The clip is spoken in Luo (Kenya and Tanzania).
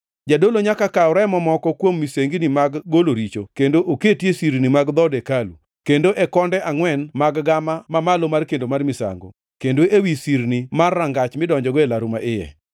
Jadolo nyaka kaw remo moko kuom misengini mag golo richo kendo oketi e sirni mag dhood hekalu, kendo e konde angʼwen mag gama mamalo mar kendo mar misango, kendo ewi sirni mar rangach midonjogo e laru maiye.